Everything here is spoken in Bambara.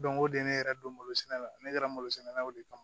Don o don ne yɛrɛ don malosɛnɛ la ne taara malosɛnɛ naw de kama